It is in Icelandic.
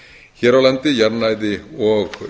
hér á landi jarðnæði og